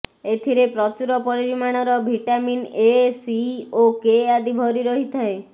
ଏଥିରେ ପ୍ରଚୁର ପରିମାଣର ଭିଟାମିନ୍ ଏ ସି ଓ କେ ଆଦି ଭରି ରହିଥାଏ